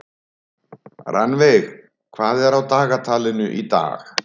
Rannveig, hvað er á dagatalinu í dag?